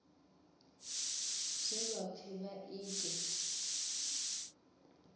zwe vha pfi vha ite